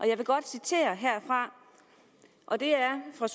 jeg vil godt citere herfra og det er fra